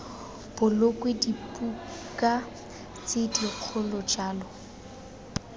bolokwe dibuka tse dikgolo jalo